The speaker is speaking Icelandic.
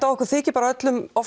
okkur þyki öllum